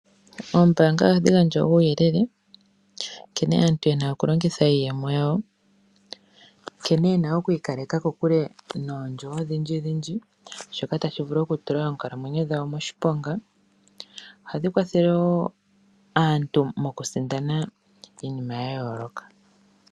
Ooombanga ohadhi gandja uuyelele nkene aantu yena okulongitha iiyemo yawo nkene yena okwiikaleka kokule noondjo odhindjidhindji shoka tashi vulu oku tula onkalamwenyo dhawo moshiponga ohadhi kwathele wo aantu mokusindana iinima ya yooloka.